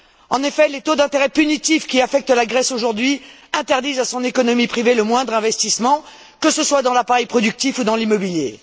En effet, les taux d'intérêt punitifs qui affectent la Grèce aujourd'hui interdisent à son économie privée le moindre investissement, que ce soit dans l'appareil productif ou dans l'immobilier.